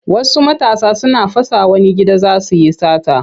Wasu matasa suna fasa wani gida za su yi sata.